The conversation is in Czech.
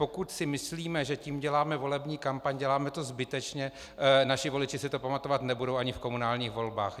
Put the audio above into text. Pokud si myslíme, že tím děláme volební kampaň, děláme to zbytečně, naši voliči si to pamatovat nebudou ani v komunálních volbách.